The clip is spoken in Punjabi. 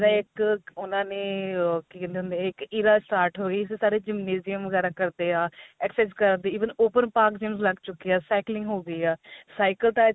ਜਿਹੜਾ ਇੱਕ ਉਨ੍ਹਾਂ ਨੇ ah ਕੀ ਕਹਿੰਦੇ ਹੁੰਦੇ ਆ ਇੱਕ ਇਰਾ start ਹੋਈ ਸਾਰੇ gymnasium ਵਗੈਰਾ ਕਰਦੇ ਆ exercise ਕਰਦੇ even open park gym ਲੱਗ ਚੁੱਕੇ ਆ cycling ਹੋ ਗਈ ਆ cycle ਤਾਂ i think